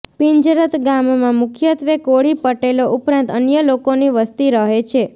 પિંજરત ગામમાં મુખ્યત્વે કોળી પટેલો ઉપરાંત અન્ય લોકોની વસ્તી રહે છે